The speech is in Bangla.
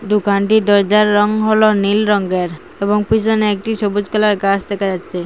দুকানটির দরজার রং হল নীল রঙ্গের এবং পিছনে একটি সবুজ কালারের গাস দেখা যাচ্ছে।